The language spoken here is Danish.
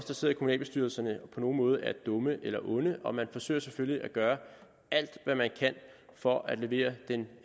der sidder i kommunalbestyrelserne på nogen måde er dumme eller onde og man forsøger selvfølgelig at gøre alt hvad man kan for at levere den